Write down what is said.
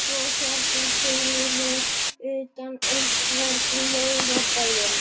svo hérna fyrir utan einhvern laugardaginn?